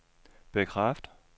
bekræft